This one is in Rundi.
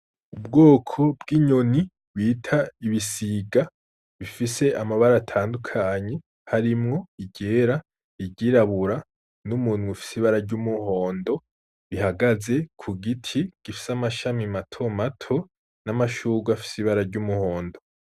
Ubwoko bw'inyoni bita ibisiga bifise amabara atandukanye harimwo iryera ,iryirabura, n'umunwa ufise ibara ry'umuhondo, bihagaze ku giti gifise amashami mato mato n'amashurwe afise ibara ry'umuhondo.